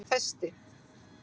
Festi